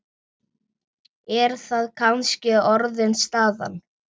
Er það kannski orðin staðan?